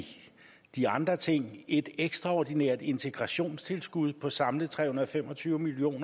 i de andre ting et ekstraordinært integrationstilskud på samlet tre hundrede og fem og tyve million